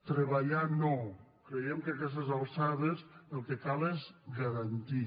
treballar no creiem que a aquestes alçades el que cal és ga·rantir